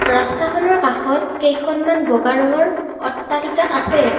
ৰাস্তাখনৰ কাষত কেইখনমান বগা ৰঙৰ অট্টালিকা আছে।